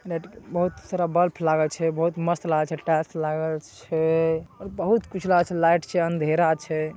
Net के बहुत सारा बल्ब लागल छै। बहुत मस्त लागल छै टाइल्स लागल छै ।और बहुत कुछ लागल छै । लाइट छै अँधेरा छै।